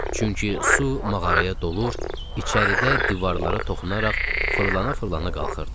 Çünki su mağaraya dolur, içəridə divarlara toxunaraq fırlana-fırlana qalxırdı.